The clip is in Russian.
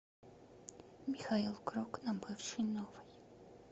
михаил круг на бывшей новой